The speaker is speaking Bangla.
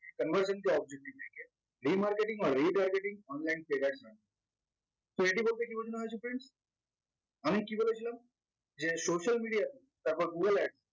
conversant কে objective রেখে remarketing or retargetting online pay judgement তোএটি বলতে কি বোঝানো হয়েছে friends আমি কি বলেছিলাম যে social media তে তারপর google ad